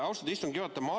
Austatud istungi juhataja!